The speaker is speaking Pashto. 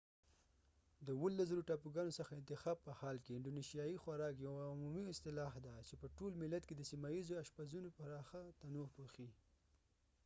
د 17،000 ټاپوګانو څخه انتخاب په حال کې، انډونیشیايي خوراک یوه عمومي اصطلاح ده چې په ټول ملت کې د سیمه ییزو اشپزونو پراخه تنوع پوښي